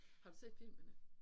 Har du set filmene?